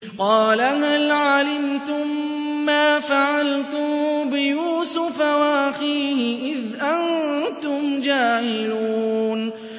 قَالَ هَلْ عَلِمْتُم مَّا فَعَلْتُم بِيُوسُفَ وَأَخِيهِ إِذْ أَنتُمْ جَاهِلُونَ